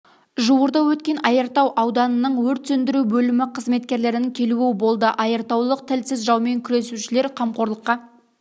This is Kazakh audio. жуырда өткен айыртау ауданының өрт сөндіру бөлімі қызметкерлерінің келуі болды айыртаулық тілсіз жаумен күресушілер қамқорлыққа